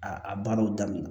A a baaraw daminɛ